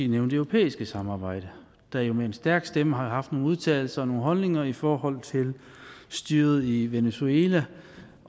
nævne det europæiske samarbejde der jo med en stærk stemme har haft nogle udtalelser nogle holdninger i forhold til styret i venezuela